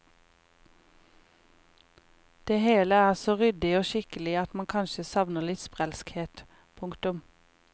Det hele er så ryddig og skikkelig at man kanskje savner litt sprelskhet. punktum